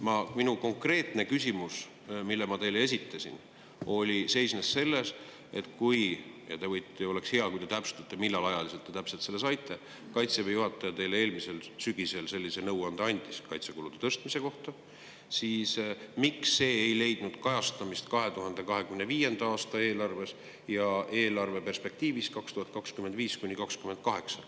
Minu konkreetne küsimus, mille ma teile esitasin, seisnes selles, et kui Kaitseväe juhataja teile eelmisel sügisel – ja oleks hea, kui te täpsustate, millal te täpselt selle saite – sellise nõuande andis kaitsekulude tõstmise kohta, siis miks ei leidnud see kajastamist 2025. aasta eelarves ja eelarve perspektiivis aastatel 2025–2028.